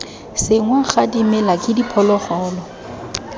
senngwa ga dimela ke diphologolo